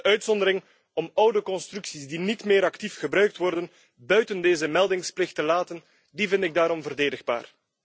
De uitzondering om oude constructies die niet meer actief gebruikt worden buiten deze meldingsplicht te laten, vind ik daarom verdedigbaar.